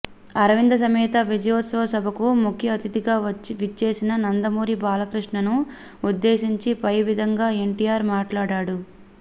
అరవింద సమేత విజయోత్సవ సభకు ముఖ్య అతిథిగా విచ్చేసిన నందమూరి బాలకృష్ణను ఉద్దేశించి పై విధంగా ఎన్టీఆర్ మాట్లాడాడు